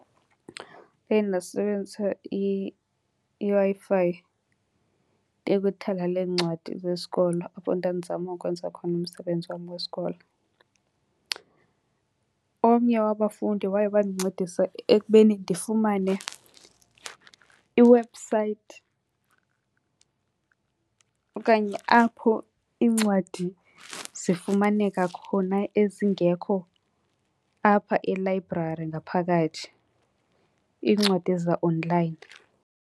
Ndaye ndasebenzisa iWi-Fi ndiye kwithala leencwadi zesikolo apho ndandizama ukwenza khona umsebenzi wam wesikolo. Omnye wabafundi waye wandincedisa ekubeni ndifumane i-website okanye apho iincwadi zifumaneka khona ezingekho apha elayibrari ngaphakathi, iincwadi zaonlayini.